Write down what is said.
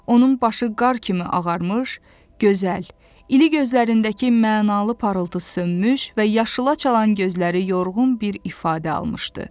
Onun başı qar kimi ağarmış, gözəl, iri gözlərindəki mənalı parıltı sönmüş və yaşıla çalan gözləri yorğun bir ifadə almışdı.